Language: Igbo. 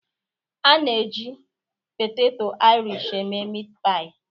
A na-eji poteto irish eme meatpie